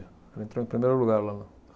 Ela entrou em primeiro lugar lá.